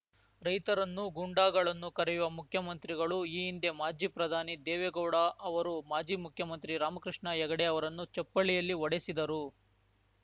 ರೈತರನ್ನು ಗುಂಡಾಗಳನ್ನು ಕರೆಯುವ ಮುಖ್ಯಮಂತ್ರಿಗಳು ಈ ಹಿಂದೆ ಮಾಜಿ ಪ್ರಧಾನಿ ದೇವೇಗೌಡ ಅವರು ಮಾಜಿ ಮುಖ್ಯಮಂತ್ರಿ ರಾಮಕೃಷ್ಣ ಹೆಗಡೆ ಅವರನ್ನು ಚಪ್ಪಲಿಯಲ್ಲಿ ಹೊಡೆಸಿದರು